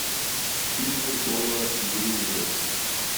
фильмы пола гринграсса